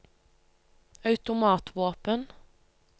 automatvåpen